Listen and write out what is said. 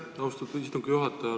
Aitäh, austatud istungi juhataja!